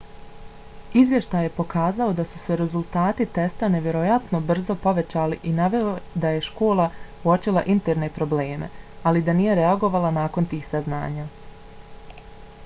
izvještaj je pokazao da su se rezultati testa nevjerovatno brzo povećali i naveo da je škola uočila interne probleme ali da nije reagovala nakon tih saznanja